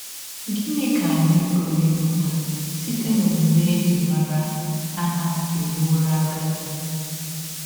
Gịnị ka anyị pụrụ ịmụta site n’ọmụme e ji mara Ana mewọrọ agadi?